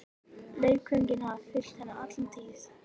Leikföngin hafa fylgt henni alla tíð.